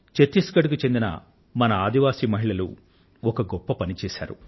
ఛత్తీస్ గఢ్ కు చెందిన మన ఆదివాసి మహిళలు ఒక గొప్ప పనిని చేశారు